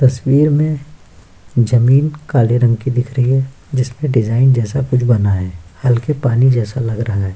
तस्वीर में जमीन काले रंग की दिख रही है जिसमें डिजाइन जैसा कुछ बना है हल्के पानी जैसा लग रहा है।